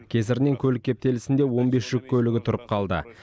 кесірінен көлік кептелісінде он бес жүк көлігі тұрып қалды